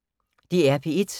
DR P1